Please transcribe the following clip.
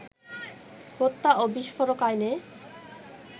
হত্যা ও বিস্ফোরক আইনে